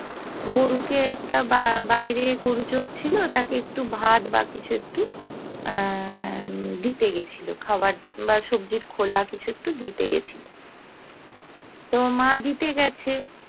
গরুকে একটা বাইরে গরু চোর ছিল তাকে একটু ভাত বা কিছু একটু দিতে গেছিল খাবার সবজির খোলা কিছু একটু দিতে গেছিল তো মা দিতে গেছে